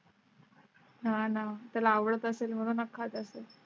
हां ना त्याला आवडत असेल म्हणूनच खात असेल